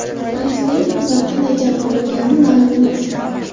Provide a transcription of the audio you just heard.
Prezident bundan qanday jabr ko‘rgani ma’lum emas.